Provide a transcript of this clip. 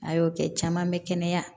A y'o kɛ caman bɛ kɛnɛya